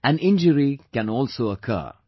An injury can also occur